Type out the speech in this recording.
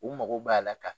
U mago b'a la ka